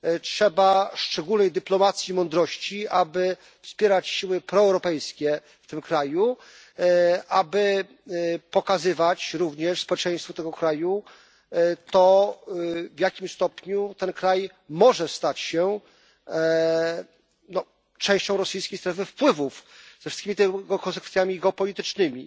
Trzeba szczególnej dyplomacji i mądrości, aby wspierać siły proeuropejskie w tym kraju i aby pokazywać również społeczeństwu tego kraju to, w jakim stopniu ten kraj może stać się częścią rosyjskiej strefy wpływów ze wszystkimi tego konsekwencjami geopolitycznymi.